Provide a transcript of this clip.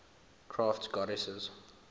crafts goddesses